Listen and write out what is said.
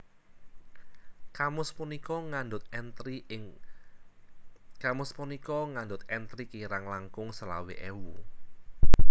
Kamus punika ngandhut entri kirang langkung selawe ewu